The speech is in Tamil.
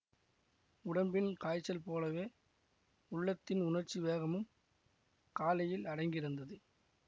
உடம்பின் காய்ச்சல் போலவே உள்ளத்தின் உணர்ச்சி வேகமும் காலையில் அடங்கியிருந்தது